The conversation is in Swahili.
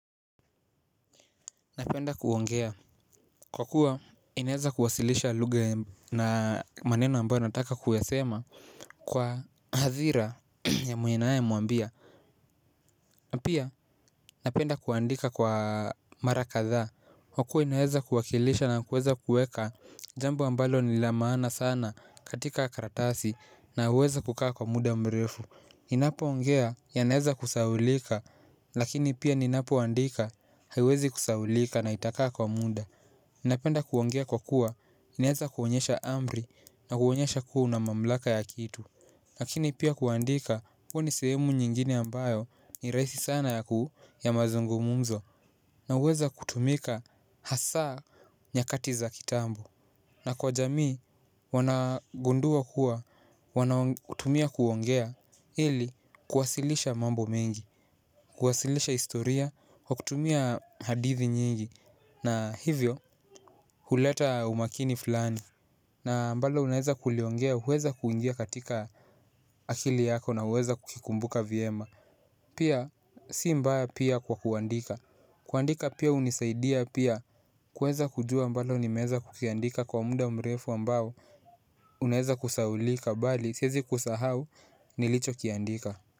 Napenda kuongea. Kwa kuwa inaweza kuwasilisha lugha na maneno ambayo nataka kuyasema kwa hadhira ya ninaemwambia na pia napenda kuandika kwa mara kadhaa kwakuwa inaeza kuwakilisha na kuweza kuweka jambo ambalo ni la maana sana katika karatasi na huweza kukaa kwa muda mrefu ninapoongea yanaweza kusahaulika lakini pia ninapoandika haiwezi kusahaulika na itakaa kwa muda napenda kuongea kwa kuwa, inaweza kuonyesha amri na kuonyesha kuwa una mamlaka ya kitu lakini pia kuandika kuwa ni sehemu nyingine ambayo ni rahisi sana ya ku ya mazungumumzo na huweza kutumika hasaa nyakati za kitambo na kwa jamii, wanagundua kuwa, wanatumia kuongea ili kuwasilisha mambo mengi. Kuwasilisha historia, kutumia hadithi nyingi na hivyo huleta umakini fulani na ambalo unaweza kuliongea huweza kuingia katika akili yako na huweza kukikumbuka vyema. Pia si mbaya pia kwa kuandika. Kuandika pia hunisaidia pia kuweza kujua mbona nimeweza kukiandika kwa muda mrefu ambao unaweza kusahaulika bali siwezi kusahau nilichokiandika.